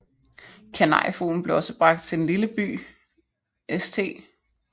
Kanariefuglen blev også bragt til den lille by St